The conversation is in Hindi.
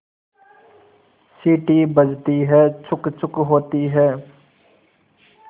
सीटी बजती है छुक् छुक् होती है